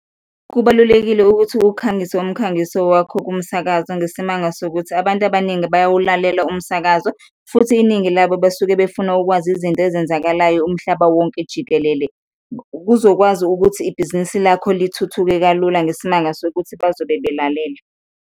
Kubalulekile ukuthi ukhangise umkhangiso wakho kumsakazo ngesimanga sokuthi abantu abaningi bayawulalela umsakazo futhi iningi labo basuke befuna ukwazi izinto ezenzakalayo umhlaba wonke jikelele, kuzokwazi ukuthi ibhizinisi lakho lithuthuke kalula ngesimanga sokuthi bazobe belalele.